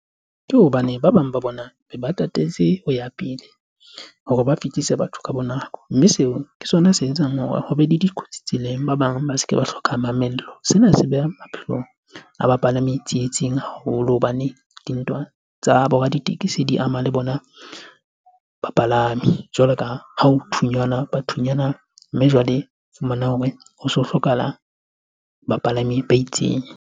Ke hobane ba bang ba bona ba tatetse ho ya pele hore ba fihlise batho ka nako, mme seo ke sona se etsang hore ho be le dikotsi tseleng, ba bang ba se ke ba hloka mamello. Sena se beha maphelo a bapalami haholo hobane di ntwa tsa bo raditekesi, di ama le bona bapalami jwaloka ha ho thunyanwa bathunyana mme jwale fumana hore ho so hlokahala bapalami ba itseng.